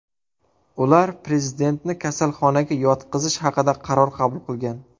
Ular prezidentni kasalxonaga yotqizish haqida qaror qabul qilgan.